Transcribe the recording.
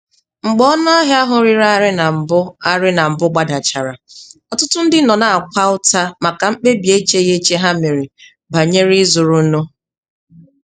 Mgbe ọnụahịa ahụ rịrị arị na mbụ arị na mbụ gbadachara, ọtụtụ ndị nọ na-akwa ụta maka mkpebi echeghị eche ha mere banyere ịzụrụ nụ.